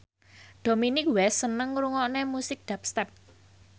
Dominic West seneng ngrungokne musik dubstep